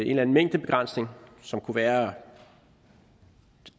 en mængdebegrænsning som kunne være